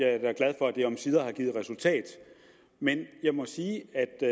er da glad for at det omsider har givet resultat men jeg må sige